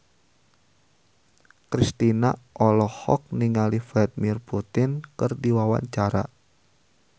Kristina olohok ningali Vladimir Putin keur diwawancara